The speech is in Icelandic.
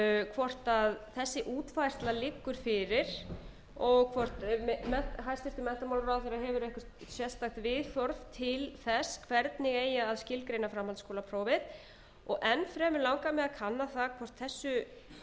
hvort þessi útfærsla liggur fyrir og hvort hæstvirtur menntamálaráðherra hefur eitthvert sérstakt viðhorf til þess hvernig eigi að skilgreina framhaldsskólaprófið enn fremur langar mig að kanna það hvort þessu